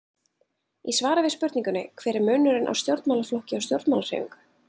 Í svari við spurningunni Hver er munurinn á stjórnmálaflokki og stjórnmálahreyfingu?